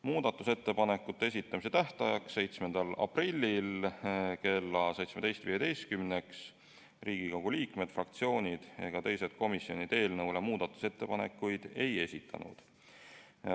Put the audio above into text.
Muudatusettepanekute esitamise tähtajaks, 7. aprilliks kella 17.15-ks Riigikogu liikmed, fraktsioonid ega teised komisjonid eelnõu kohta muudatusettepanekuid ei esitanud.